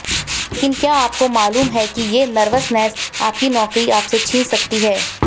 लेकिन क्या आपको मालूम है कि ये नर्वसनेस आपसे आपकी नौकरी छीन सकती है